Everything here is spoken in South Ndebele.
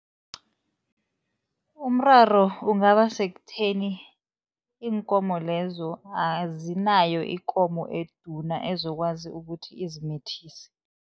Umraro ungaba sekutheni, iinkomo lezo azinayo ikomo eduna ezokwazi ukuthi izimithise.